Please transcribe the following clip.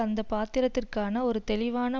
அந்த பாத்திரத்திற்கான ஒரு தெளிவான